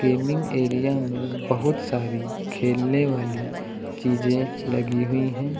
Gaming area में बहुत सारी खेलने वाली चीजें लगी हुई हैं।